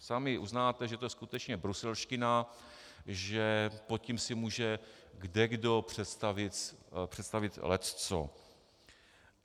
Sami uznáte, že to je skutečně bruselština, že pod tím si může kdekdo představit lecco.